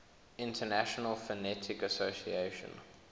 international phonetic association